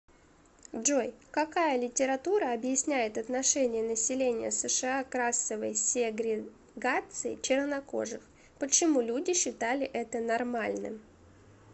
джой какая литература объясняет отношение населения сша к расовой сегрегации чернокожих почему люди считали это нормальным